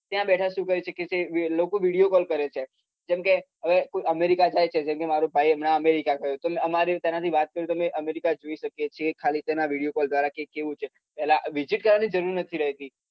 ત્યાં બેઠા શું કરી શકે છે લોકો video call કરે છે જેમ કે કોઈ america માં જાય જેમ કે મારો ભાઈ હમણાં america ગયો અમારે તેનાથી વાત કરવી તો america જોઈ શકીએ છીએ ખાલી video call દ્રારા visit કરવાની જરૂર નથી રહતી